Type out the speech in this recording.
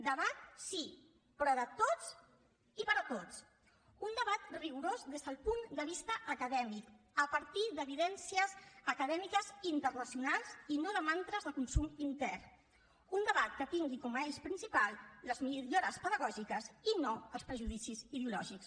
debat sí però de tots i per a tots un debat rigorós des del punt de vista acadèmic a partir d’evidències acadèmiques internacionals i no de mantres de consum intern un debat que tingui com a eix principal les millores pedagògiques i no els prejudicis ideològics